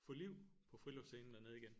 Få liv på friluftsscenen dernede igen